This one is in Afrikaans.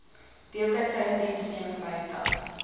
deeltydse indiensneming bystand